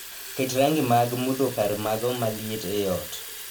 Ket rangi mag mudho kar mago maliet ei ot